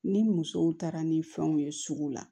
Ni musow taara ni fɛnw ye sugu la